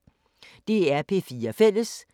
DR P4 Fælles